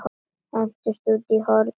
Hendist út í horn.